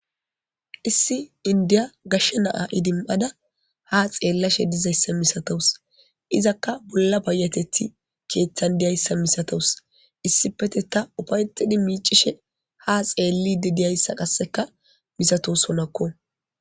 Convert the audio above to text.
Issi indiya gashshe naa idim7ada ha xeellashe dizayssa misatous izakka bolla bayateti keeththan diyayssa misatos issipete ta ufayxidi miicishe ha xeellide diyayssa qasseka misatos honakko